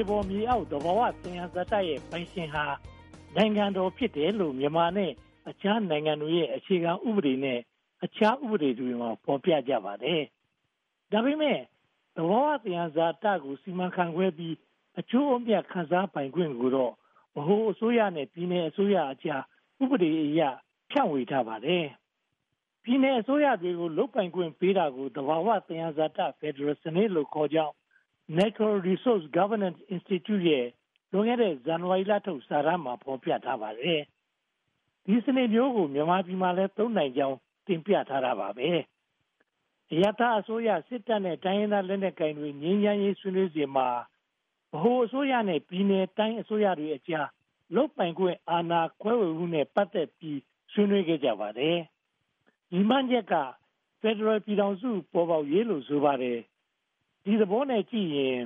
ေပေါ်မြေအောက် သဘာဝသယံဇာတများရဲ့ ပိုင်ရှင်ဟာ နိုင်ငံတော်ဖြစ်တယ်လို့ မြန်မာနိုင်ငံနဲ့ အခြားနိုင်ငံတွေရဲ့ အခြေခံဥပဒေနဲ့ အခြားဥပဒေတွေမှာ ဖော်ပြထားကြပါတယ်။ ဒါပေမဲ့ သဘာဝသယံဇာတို စီမံခန့်ခွဲပြီး အကျိုးအမြတ် ခံစားပိုင်ခွင့်ကိုတော့ ဗဟိုအစိုးရနဲ့ ပြည်နယ်အစိုးရအကြား ဥပဒေအရ ဖြန့်ဝေထားပါတယ်။ ပြည်နယ်အစိုးရတွေကို လုပ်ပိုင်ခွင့်ပေးထားတာကို သဘာဝသယံဇာတ ဖယ်ဒရယ်စနစ်လို့ခေါ်ကြောင်း Natural Resource Governance Institute ရဲ့ လွန်ခဲ့တဲ့ ဇန်နဝါရီလထုတ် စာတမ်းမှာ ဖော်ပြထားပါတယ်။ ဒီစနစ်မျိုးကို မြန်မာပြည်မှာ သုံးနိုင်ကြောင်း တင်ပြထားပါတယ်။ အရပ်သားအစိုးရ၊ စစ်တပ်နဲ့ တိုင်းရင်းသားလက်နက်ကိုင်တွေ ငြိမ်းချမ်းရေးဆွေးနွေးစဉ်မှာ ဗဟိုအစိုးရနဲ့ ပြည်နယ်၊ တိုင်းအစိုးရတွေကြား လုပ်ပိုင်ခွင့် အာဏာခွဲဝေမှုနဲ့ ပတ်သက်ပြီး ဆွေးနွေးခဲ့ကြပါတယ်။ ရည်မှန်းချက်က ဖယ်ဒရယ်ပြည်ထောင်စု ပေါ်ပေါက်ရေးလို့ ဆိုပါတယ်။ ဒီသဘောနဲ့ကြည့်ရင်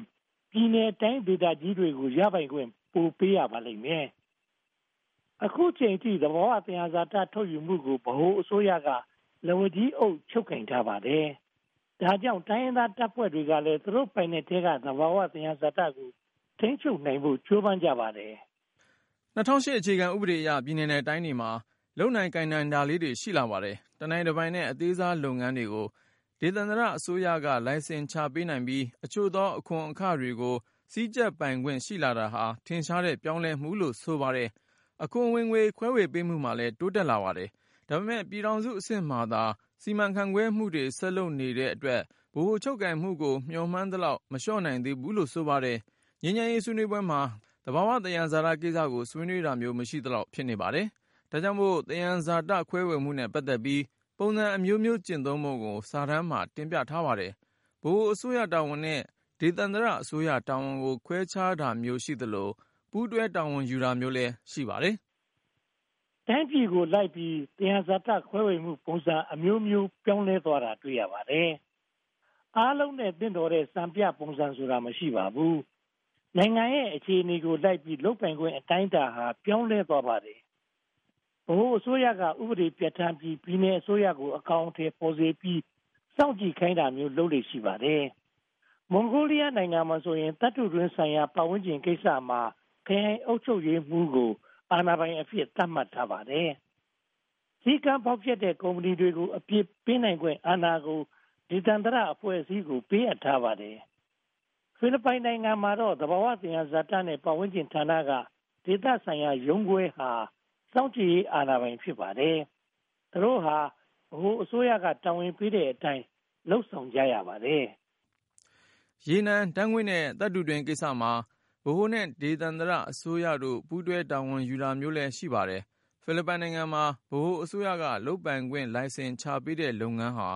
ပြည်နယ်၊ တိုင်းဒေသကြီးတွေကို ရပိုင်ခွင့် ပို့ပေးရလိမ့်မယ်။ အခုအချိန်အထိ သဘာဝသယံဇာတ ထုတ်ယူမှုကို ဗဟိုအစိုးရကလည်း သူတို့ပိုင်နက်ထဲက သဘာဝသယံဇာတကို ထိန်းချုပ်နိုင်ဖို့ ကြိုးပမ်းကြပါတယ်။ ၂၀၀၈ အခြေခံဥပဒေအရ ပြည်နယ်နဲ့တိုင်းတွေမှာ လုပ်နိုင်ကိုင်နိုင်တာလေးတွေ ရှိလာပါတယ်။ တနိုင်တပိုင်နဲ့ အသေးစားလုပ်ငန်းတွေကို ဒေသန္တရအစိုးရက လိုင်စင်ချပေးနိုင်ပြီး အချို့သောအခွန်အခတွေကို စည်းကြပ်ပိုင်ခွင့် ရှိလာတာဟာ ထင်ရှားတဲ့ ပြောင်းလဲမှုလို့ဆိုပါတယ်။ အခွန်ဝင်ငွေ ခွဲဝေပေးမှုမှာလည်း တိုးတက်လာပါတယ်။ ဒါပေမဲ့ ပြည်ထောင်စုအဆင့်မှာသာ စီမံခန့်ခွဲမှုတွေ ဆက်လုပ်နေတဲ့အတွက် ဗဟိုချုပ်ကိုင်မှုကို မျှော်မှန်းသလောက် မလျှော့နိုင်သေးဘူးလို့ ဆိုပါတယ်။ ငြိမ်းချမ်းရေးဆွေးနွေးပွဲမှာ သဘာဝသယံဇာတကိစ္စကို ဆွေးနွေးတာမျိုး မရှိသလောက် ဖြစ်နေပါတယ်။ ဒါကြောင့်မို့ သယံဇာတ ခွဲဝေမှုနဲ့ ပတ်သက်ပြီး ပုံစံအမျိုးမျိုး ကျင့်သုံးပုံကို စာတမ်းမှာ တင်ပြထားပါတယ်။ ဗဟိုအစိုးရတာဝန်နဲ့ ဒေသန္တရအစိုးရတာဝန်ကို ခွဲခြားတာမျိုး ရှိသလို၊ ပူးတွဲတာဝန်ယူတာမျိုးလည်း ရှိပါတယ်။ တိုင်းပြည်ကိုလိုက်ပြီး သယံဇာတခွဲဝေမှုပုံစံ အမျိုးမျိုးပြောင်းလဲသွားတာ တွေ့ရပါတယ်။ အားလုံးနဲ့ သင့်တော်တဲ့ စံပြပုံစံဆိုတာ မရှိပါဘူး။ နိုင်ငံရဲ့ အခြေအနေကိုလိုက်ပြီး လုပ်ပိုင်ခွင့်အတိုင်းအတာလည်း ပြောင်းလဲသွားပါတယ်။ ဗဟိုအစိုးရက ဥပဒေပြဌာန်းပြီး ပြည်နယ်အစိုးရကို အကောင်အထည်ဖော်စေပြီး စောင့်ကြည့်ခိုင်တာမျိုး လုပ်လေ့ရှိပါတယ်။ မွန်ဂိုးလီယားနိုင်ငံမှာဆိုရင် သတ္တုတွင်းဆိုင်ရာ ပတ်ဝန်းကျင်ကိစ္စမှာ ခရိုင်အုပ်ချုပ်ရေးမှူးကို အာဏာပိုင်အဖြစ် သတ်မှတ်ပါတယ်။ စည်းကမ်းဖောက်ဖျက်တဲ့ ကုမ္ပဏီကို အပြစ်ပေးနိုင်ခွင့်အာဏာကို ဒေသန္တရအဖွဲ့အစည်းကို ပေးအပ်ထားပါတယ်။ ဖိလစ်ပိုင်နိုင်ငံမှာတော့ သဘာဝသယံဇာတနဲ့ ပတ်ဝန်းကျင်ဌာနက ဒေသန္တရရုံးခွဲဟာ စောင့်ကြည့်ရေးအာဏာပိုင် ဖြစ်ပါတယ်။ သူတို့ဟာ ဗဟိုအစိုးရက တာဝန်ပေးတဲ့အတိုင်း လုပ်ဆောင်ကြရပါတယ်။ ရေနံဓါတ်ငွေ့နဲ့ သတ္တုတွင်းကိစ္စမှာ ဗဟိုနဲ့ ဒေသန္တရအစိုးရတို့ ပူးတွဲတာဝန်ယူတာမျိုးလည်း ရှိပါတယ်။ ဖိလစ်ပိုင်နိုင်ငံမှာ ဗဟိုအစိုးရက လုပ်ပိုင်ခွင့် လိုင်စင်ချပေးတဲ့ လုပ်ငန်းဟာ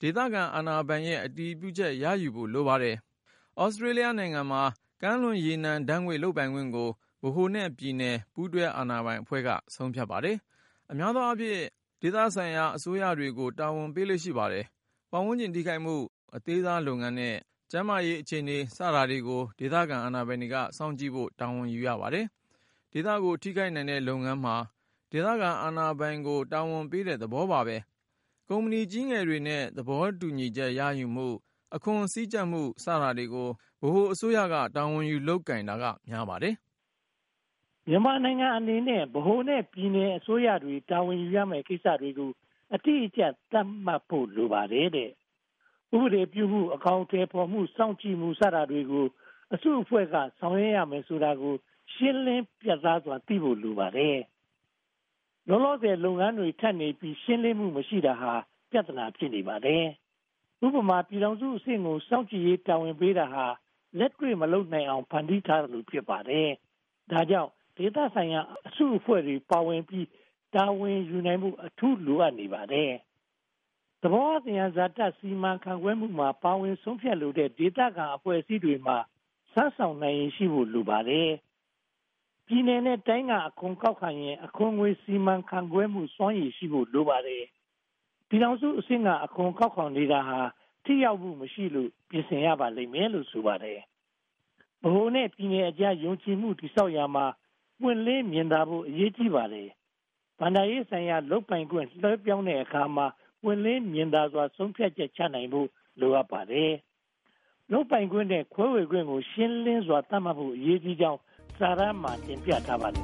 ဒေသခံအာဏာပိုင်ရဲ့ အတည်ပြုချက် ရယူရပါတယ်။ Australia နိုင်ငံမှာတော့ ကမ်းလွန်ရေနံဓါတ်ငွေ့ လုပ်ပိုင်ခွင့်ကို ဗဟိုနဲ့ပြည်နယ် ပူးတွဲအာဏာပိုင်အဖွဲ့က ဆုံးဖြတ်လိုက်ပါတယ်။ အများအားဖြင့် ဒေသဆိုင်ရာ အစိုးရတွေကို တာဝန်ပေးလေ့ရှိပါတယ်။ ပတ်ဝန်းကျင်ထိခိုက်မှု၊ အသေးစားလုပ်ငန်းနဲ့ ကျန်းမာရေးအခြေအနေ စတာတွေကို ဒေသခံအာဏာပိုင်တွေက စောင့်ကြည့်ဖို့ တာဝန်ယူရပါတယ်။ ဒေသကို ထိခိုက်နိုင်တဲ့ လုပ်ငန်းမှာ ဒေသခံအာဏာပိုင်ကို တာဝန်ပေးတဲ့သဘော ဖြစ်ပါတယ်။ ကုမ္ပဏီကြီးငယ်တွေနဲ့ သဘောတူညီချက်ရယူမှု၊ အခွန်စည်းကြပ်မှု စတာတွေကိုတော့ ဗဟိုအစိုးရက တာဝန်ယူ လုပ်ကိုင်တာများပါတယ်။ မြန်မာနိုင်ငံအနေနဲ့ ဗဟိုနဲ့ ပြည်ထောင်စုအစိုးရတွေ တာဝန်ယူရမယ့်ကိစ္စတွေကို အတိအကျ သတ်မှတ်ဖို့ လိုပါတယ်။ ဥပဒေပြုမှု၊ အကောင်အထည်ဖော်မှု၊ စောင့်ကြည့်မှု စတာတွေကို ဘယ်အစုအဖွဲ့က ဆောင်ရွက်မည်ဆိုတာကို ရှင်းလင်းပြတ်သားစွာ သိဖို့လိုပါတယ်။ လောလောဆယ်မှာ လုပ်ငန်းတွေထပ်နေပြီး ရှင်းလင်းမှုမရှိတာဟာ ပြဿနာ ဖြစ်နေပါတယ်။ ဥပမာ ပြည်ထောင်စုအဆင့်ကို စောင့်ကြည့်ရေး တာဝန်ပေးတာဟာ လက်တွေ့မလုပ်နိုင်အောင် ဖန်တီးထားသလို ဖြစ်နေပါတယ်။ ဒါကြောင့် ဒေသဆိုင်ရာ အစုအဖွဲ့တွေ ပါဝင်ပြီး တာဝန်ယူနိုင်ဖို့ အထူးလိုအပ်နေပါတယ်။ သဘာဝသယံဇာ စီမံခန့်ခွဲမှုမှာ ပါဝင်ဆုံးဖြတ်လိုတဲ့ ဒေသခံအဖွဲ့အစည်းတွေမှာ စွမ်းဆောင်နိုင်ရည်ရှိဖို့ လိုအပ်ပါတယ်။ ပြည်နယ်နဲ့တိုင်းက အခွန်ကောက်ခံရင် အခွန်ငွေ စီမံခန့်ခွဲမှုစွမ်းရည် ရှိဖို့လိုပါတယ်။ ပြည်ထောင်စုအဆင့်က အခွန်ကောက်နေတာ ထိရောက်မှုမရှိလို့ ပြင်ဆင်ရမယ်လို့ ဆိုပါတယ်။ ဗဟိုနဲ့ပြည်နယ်အကြား ယုံကြည်မှု တည်ဆောက်ရာမှာ ပွင့်လင်းမြင်သာဖို့ အရေးကြီးပါတယ်။ ဘဏ္ဍာရေးဆိုင်ရာ လုပ်ပိုင်ခွင့် လွှဲပြောင်းတဲ့အခါမှာ ပွင့်လင်းမြင်သာမှု ဆုံးဖြတ်ချက်ချနိုင်ဖို့ လိုအပ်ပါတယ်။ လုပ်ပိုင်ခွင့်နဲ့ ခွဲဝေခွင့်ကို ရှင်းလင်းစွာ သတ်မှတ်ဖို့ အရေးကြီးကြောင်း စာတမ်းမှာ တင်ပြထားပါတယ်